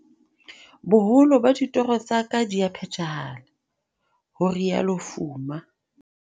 "Boholo ba ditoro tsa ka di a phethahala," ho rialo Fuma.